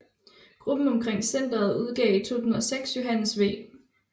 Gruppen omkring centret udgav i 2006 Johannes V